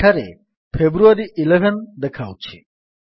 ଏଠାରେ ଫେବ୍ରୁଆରୀ 11 ଦେଖାଉଛି